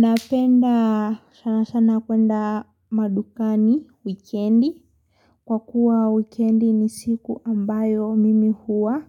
Napenda sana sana kwenda madukani, wikendi. Kwa kuwa wikendi ni siku ambayo mimi huwa.